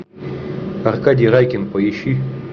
аркадий райкин поищи